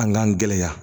An k'an gɛlɛya